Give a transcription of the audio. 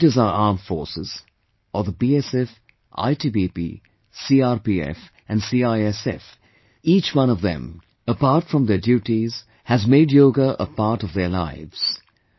Whether it is our armed forces, or the BSF, ITBP, CRPF and CISF, each one of them, apart from their duties has made Yoga a part of their lives